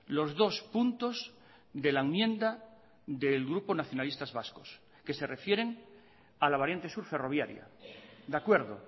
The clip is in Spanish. los dos puntos de la enmienda del grupo nacionalistas vascos que se refieren a la variante sur ferroviaria de acuerdo